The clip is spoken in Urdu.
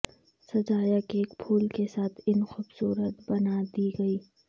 سجایا کیک پھول کے ساتھ ان خوبصورت بنا دے گی